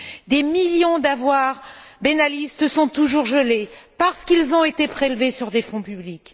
Des millions d'avoirs benalistes sont toujours gelés parce qu'ils ont été prélevés sur des fonds publics.